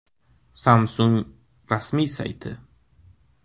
Samsung rasmiy sayti.